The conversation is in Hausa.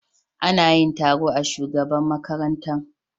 Ana yin taro a shugaban makaranta.